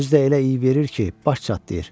Özü də elə iyi verir ki, baş çatdırır.